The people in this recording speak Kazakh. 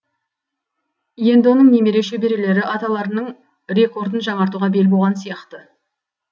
енді оның немере шөберелері аталарының рекордын жаңартуға бел буған сияқты